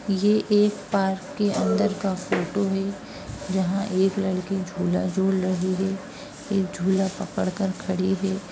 ये एक पार्क के अंदर का फोटो है। जहाँ एक लड़की झूला झूल रही है। एक झूला पकड़ कर खड़ी है।